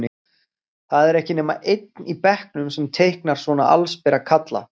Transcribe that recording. Það er ekki nema einn í bekknum sem teiknar svona allsbera kalla.